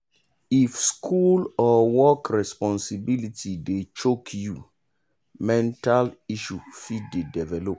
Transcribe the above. if school or work responsibility dey choke you mental issue fit dey develop.